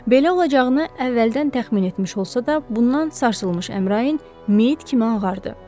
Belə olacağını əvvəldən təxmin etmiş olsa da, bundan sarsılmış Əmrain meyit kimi ağardı.